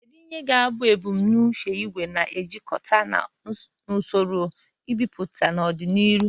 Kedu ihe ga-abụ ebumnuche nke igwe na-ejikọta na usoro mbipụta n'ọdịnihu?